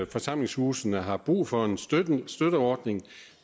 forsamlingshusene har brug for en støtteordning